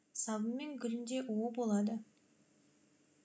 сабы мен гүлінде уы болады